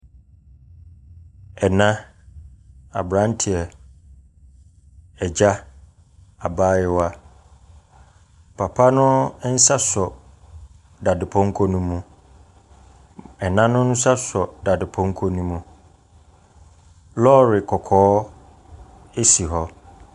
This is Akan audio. Ɛna, aberanteɛ, agya, abaayewa. Papa no nsa sɔ dadepɔnkɔ no mu. Ɛna no nsa sɔ dadepɔnkɔ no mu. Lɔɔre kɔkɔɔ si hɔ.